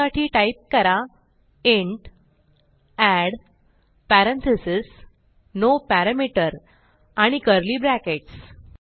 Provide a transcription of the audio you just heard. त्यासाठी टाईप करा int and parentheses no parameter आणि कर्ली ब्रॅकेट्स